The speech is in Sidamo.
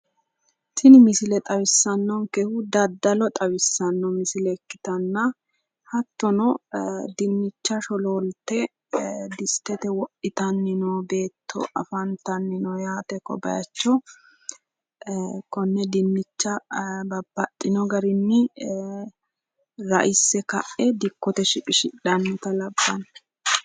Tini misile xawissannonkehu daddalo xawissanno misile ikkitanna hattono dinnicha sholoolte disitete wodhitanni noo beetto afantanno yaate ko bayicho konne dinnicha babbaxxino garinni ra'isse ka'e dikkote shiqishidhannota labbanno